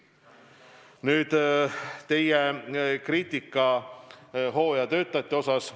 Nüüd teie kriitikast hooajatöötajate osas.